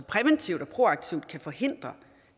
præventivt og proaktivt kan forhindre